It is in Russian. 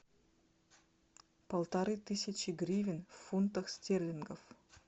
полторы тысячи гривен в фунтах стерлингов